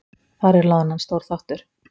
Þar er loðnan stór þáttur.